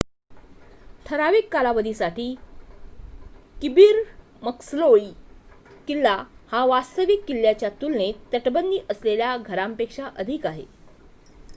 ठराविक कालावधीसाठी Kirby Muxloe किल्ला हा वास्तविक किल्ल्याच्या तुलनेत तटबंदी असलेल्या घरापेक्षा अधिक आहे